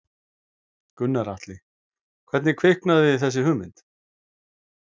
Gunnar Atli: Hvernig kviknaði þessi hugmynd?